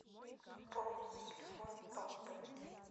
пополнить телефон папы